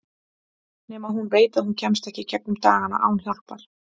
Nema hún veit að hún kemst ekki í gegnum dagana án hjálpar.